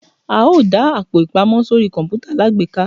a o da Àpò-ìpamọ́ sorí kọǹpútà alágbèéká.